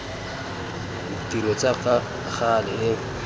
ditiro tsa ka gale e